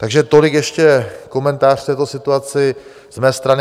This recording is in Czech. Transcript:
Takže tolik ještě komentář k této situaci z mé strany.